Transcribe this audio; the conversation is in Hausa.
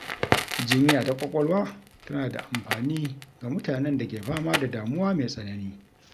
Jinya ta ƙwaƙwalwa tana da amfani ga mutanen da ke fama da damuwa mai tsanani.